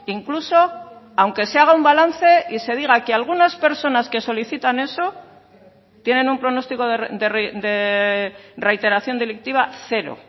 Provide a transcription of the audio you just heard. incluso aunque se haga un balance y se diga que algunas personas que solicitan eso tienen un pronóstico de reiteración delictiva cero